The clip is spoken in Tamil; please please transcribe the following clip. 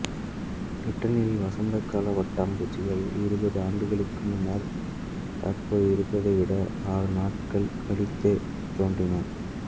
பிரிட்டனில் வசந்த கால பட்டாம்பூச்சிகள் இருபது ஆண்டுகளுக்கு முன்னர் தற்போது இருப்பதை விட ஆறு நாட்கள் கழித்தே தோன்றின